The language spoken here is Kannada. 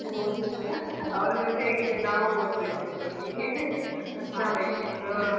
ಅವರ ಜೊತೆ ನಾವು ಓದ್ಬೇಕು ಈಗ ಅವರೊಟ್ಟೊಟ್ಟಿಗೆ ಜೊತೆಗೆ ಹಾ.